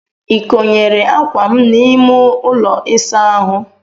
I konyere ákwà m n'ime ụlọ ịsa ahụ?